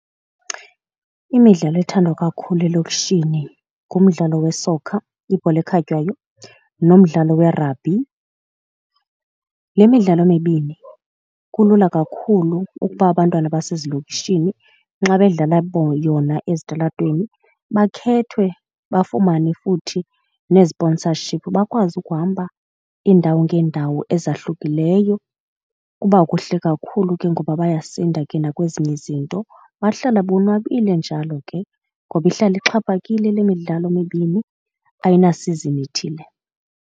Imidlalo ethandwa kakhulu elokishini ngumdlalo we-soccer, ibhola ekhatywayo, nomdlalo werabhi. Le midlalo mibini kulula kakhulu ukuba abantwana basezilokishini xa bedlala yona ezitalatweni bakhethwe bafumane futhi nee-sponsorship bakwazi ukuhamba iindawo ngeendawo ezahlukileyo. Kuba kuhle kakhulu ke ngoba bayasinda ke nakwezinye izinto, bahlale bonwabile njalo ke ngoba ihlala ixhaphakile le midlalo mibini ayinasizini ithile.